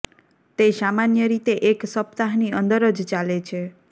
તે સામાન્ય રીતે એક સપ્તાહની અંદર જ ચાલે છે